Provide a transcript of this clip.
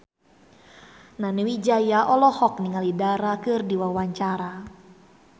Nani Wijaya olohok ningali Dara keur diwawancara